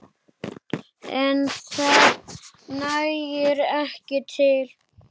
En það nægi ekki til.